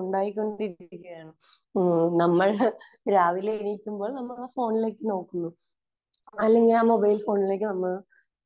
ഉണ്ടായിക്കൊണ്ടിരിക്കുകയാണ്. മ്മ് നമ്മൾ രാവിലെ എണീക്കുമ്പോൾ നമ്മൾ ആ ഫോണിലേക്ക് നോക്കുന്നു. അല്ലെങ്കിൽ ആ മൊബൈൽ ഫോണിലേക്ക് നമ്മൾ